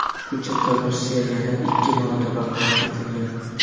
Hujjatda Rossiya yana ikki marotaba qayd etilgan.